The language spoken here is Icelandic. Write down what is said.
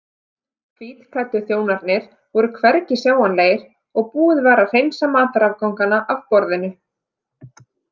Hvítklæddu þjónarnir voru hvergi sjáanlegir og búið var að hreinsa matarafgangana af borðinu.